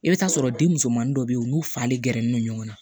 I bɛ t'a sɔrɔ denmusomanin dɔ bɛ yen u n'u falen gɛrɛnen don ɲɔgɔn na